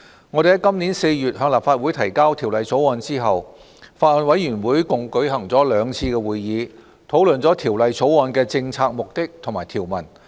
我們在今年4月向立法會提交《條例草案》後，法案委員會共舉行了兩次會議，討論《條例草案》的政策目的和條文。